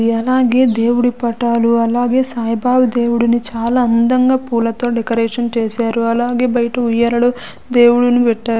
అలాగే దేవుడి పటాలు అలాగే సాయిబాబా దేవుడిని చాలా అందంగా పూలతో డెకరేషన్ చేశారు అలాగే బయట ఉయ్యాలలో దేవుడిని పెట్టారు.